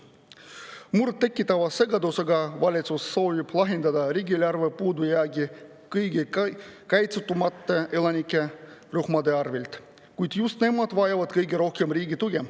Murettekitavalt segadusse ajavalt soovib valitsus lahendada riigieelarve puudujäägi kõige kaitsetumate elanikurühmade arvel, kuigi just nemad vajavad kõige rohkem riigi tuge.